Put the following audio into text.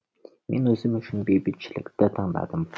мен өзім үшін бейбітшілікті таңдадым